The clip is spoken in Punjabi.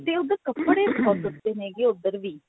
ਤੇ ਉਧਰ ਕੱਪੜੇ ਬਹੁਤ ਸਸਤੇ ਹੈਗੇ ਨੇ ਉਧਰ ਵੀ